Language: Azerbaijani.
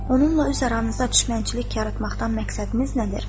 Onunla üz aranızda düşmənçilik yaratmaqdan məqsədiniz nədir?